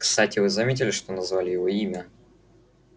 кстати вы заметили что назвали его имя